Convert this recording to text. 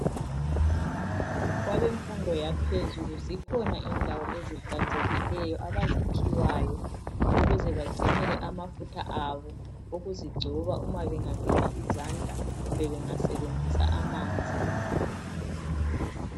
kwabemfundo yaphezulu zikhona indawo ezihlanzekileyo abaziphiwayo ukuze bagcinele amafutha abo ukuzigcoba uma bengageza izandla kumbe bengasebenzisa amanzi